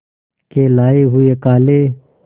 के लाए हुए काले